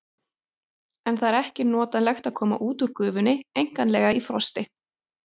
En það er ekki notalegt að koma út úr gufunni einkanlega í frosti.